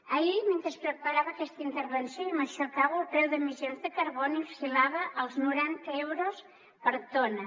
ahir mentre preparava aquesta intervenció i amb això acabo el preu d’emissions de carboni oscil·lava als noranta euros per tona